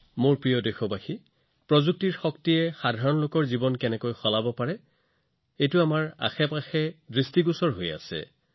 মোৰ মৰমৰ দেশবাসীসকল প্ৰযুক্তিৰ শক্তিয়ে কেনেদৰে সাধাৰণ মানুহৰ জীৱন সলনি কৰি আছে আমি আমাৰ চাৰিওফালে নিৰন্তৰে দেখিবলৈ পাইছো